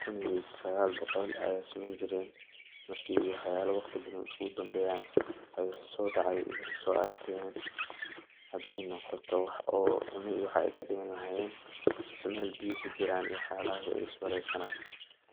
kun iyo sagal boqol waana dad rer guraa ah oo waxey is war sanayan sidha dadka ayey u dagi lahayen , waxey so arken hadey noqoto mel cunto talo mise mel biyo kujiran waxas ayey is warey sanayan.